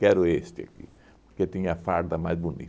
Quero este aqui, porque tinha a farda mais